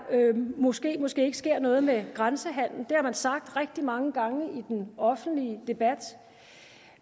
måske måske ikke sker noget med grænsehandelen det har man sagt rigtig mange gange i den offentlige debat